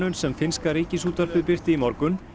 sem finnska Ríkisútvarpið birti í morgun